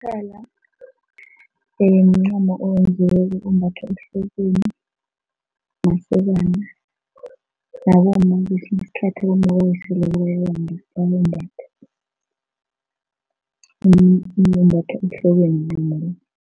Umkhala Mncamo owenziweko ombathwa ohlokweni masokana nabomma ngesinye isikhathi abomma abawiseleko bayawumbatha ehlokweni